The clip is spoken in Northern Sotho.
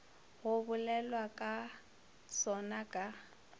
go bolelwago ka sona ka